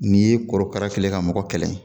N'i ye korokara kɛlen ye ka mɔgɔ kɛlɛ